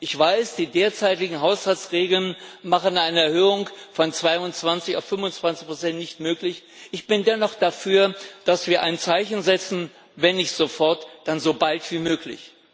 Ich weiß, die derzeitigen Haushaltsregeln machen eine Erhöhung von 22 auf 25 Prozent nicht möglich. Ich bin dennoch dafür, dass wir ein Zeichen setzen, wenn nicht sofort, dann so bald wie möglich.